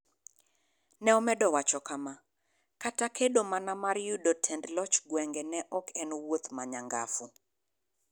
Ne omedo wacho kama: �Kata kedo mana mar yudo tend loch gwenge ne ok en wuoth ma nyangafu.�